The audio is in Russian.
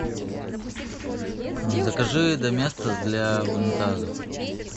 закажи доместос для унитазов